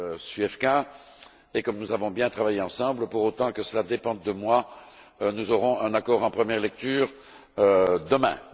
Zwiefka que, comme nous avons bien travaillé ensemble, pour autant que cela dépende de moi, nous aurons un accord en première lecture demain.